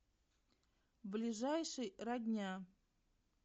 ближайший родня